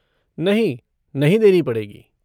नहीं, नहीं देनी पड़ेगी।